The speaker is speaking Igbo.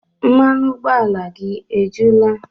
Mmanụ ụgbọala gị ejula?